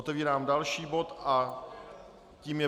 Otevírám další bod a tím je